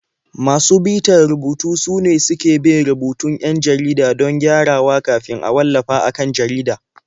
Masu bitar rubutu sune suke bin rubutun 'yan jarida don gyarawa kafin a wallafa a kan jarida.